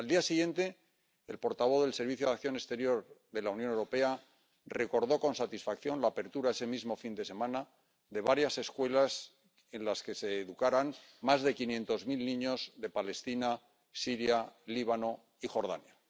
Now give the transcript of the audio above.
Al día siguiente, el portavoz del Servicio Europeo de Acción Exterior de la Unión Europea recordó con satisfacción la apertura ese mismo fin de semana de varias escuelas en las que se educarán más de quinientos mil niños de Palestina, Siria, Líbano y Jordania.